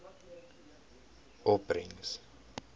opbrengs